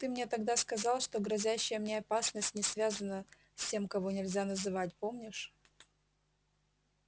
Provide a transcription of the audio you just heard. ты мне тогда сказал что грозящая мне опасность не связана с тем кого нельзя называть помнишь